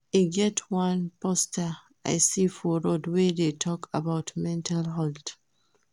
E get one poster I see for road wey dey talk about mental health